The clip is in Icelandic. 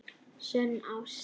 SÖNN ÁST.